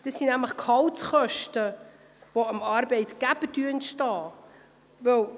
Es handelt sich dabei um Gehaltskosten, welche dem Arbeitgeber entstehen.